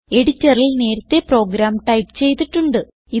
എഡിറ്ററിൽ നേരത്തേ program type ചെയ്തിട്ടുണ്ട്